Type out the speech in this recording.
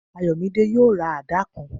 Ayomide yóò ra àdá kan